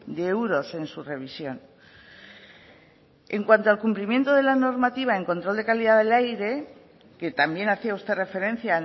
de euros en su revisión en cuanto al cumplimiento de la normativa en control de calidad del aire que también hacía usted referencia